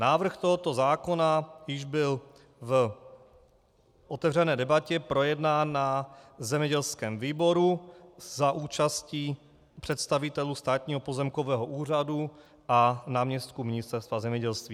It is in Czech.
Návrh tohoto zákona již byl v otevřené debatě projednán na zemědělském výboru za účasti představitelů Státního pozemkového úřadu a náměstků Ministerstva zemědělství.